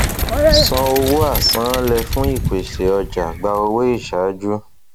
san owó àsanánlẹ fún ìpèsè ọjà gba owó isàájú